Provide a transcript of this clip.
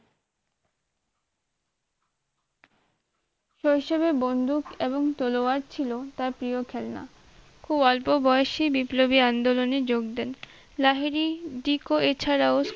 শৈশবে বন্ধুক এবং তলোয়ার ছিল তার প্রিয় খেলনা খুব অল্প বয়সী বিপ্লবী আন্দোলনে যোগ দেন লাহিড়ী decco এছাড়াও